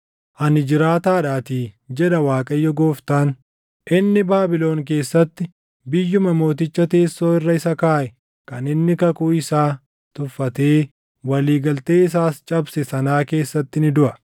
“ ‘Ani jiraataadhaatii, jedha Waaqayyo Gooftaan; inni Baabilon keessatti biyyuma mooticha teessoo irra isa kaaʼe kan inni kakuu isaa tuffatee walii galtee isaas cabse sanaa keessatti ni duʼa.